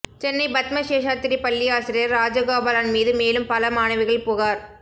சென்னை பத்ம சேஷாத்திரி பள்ளி ஆசிரியர் ராஜகோபாலன் மீது மேலும் பல மாணவிகள் புகார்